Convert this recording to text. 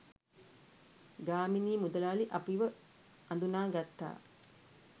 ගාමිණී මුදලාලි අපිව අඳුනා ගත්තා.